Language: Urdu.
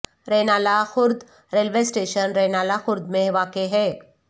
رینالہ خورد ریلوے اسٹیشن رینالہ خورد میں واقع ہے